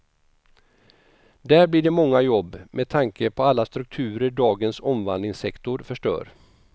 Där blir det många jobb, med tanke på alla strukturer dagens omvandlingssektor förstör.